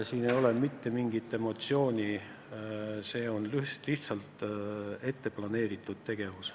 Siin ei ole mitte mingit emotsiooni, see on lihtsalt ette planeeritud tegevus.